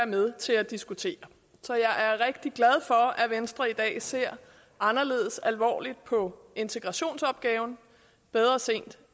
med til at diskutere så jeg er rigtig glad for at venstre i dag ser anderledes alvorligt på integrationsopgaven bedre sent